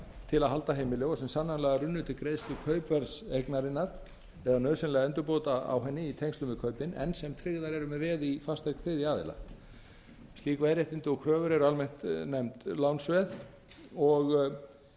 til að halda heimili og sem sannanlega runnu til greiðslu kaupverðs eignarinnar eða nauðsynlegra endurbóta á henni í tengslum við kaupin en sem tryggðar eru með veði í fasteign þriðja aðila slík veðréttindi og kröfur eru almennt nefnd lánsveð og